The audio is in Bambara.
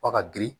F'a ka girin